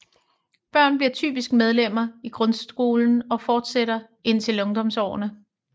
Børn bliver typisk medlemmer i grundskolen og fortsætter indtil ungdomsårene